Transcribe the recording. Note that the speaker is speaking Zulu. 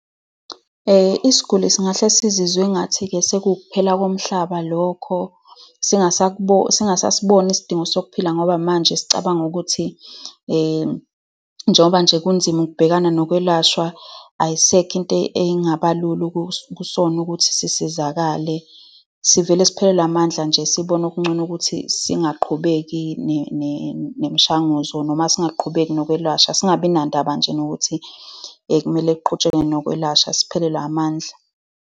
Isiguli singahle sizizwe engathi-ke sekuwuphela komhlaba lokho, singasasiboni isidingo sokuphila ngoba manje sesicabanga ukuthi njengoba nje kunzima ukubhekana nokwelashwa, ayisekho into engaba lula kusona ukuthi sisizakale. Sivele siphelelwe amandla nje, sibone okungcono ukuthi singaqhubeki nemishanguzo, noma singaqhubeki nokwelashwa. Singabi nandaba nje nokuthi kumele kuqhutshekwe nokwelashwa. Siphelelwe amandla.